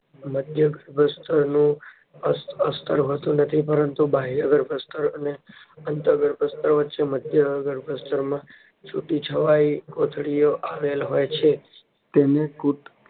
મધ્યગર્ભસ્તર અસ્તર હોતું નથી પરંતુ બાહ્યગર્ભસ્તરઅને અંતઃ ગર્ભસ્તર વચ્ચે મધ્યગર્ભસ્તરમાં છુટીછવાયી કોથળીઓ આવેલ હોય છે. તેને